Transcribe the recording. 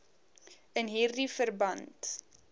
in hierdie verband